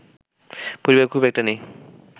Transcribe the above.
পরিবার খুব একটা নেই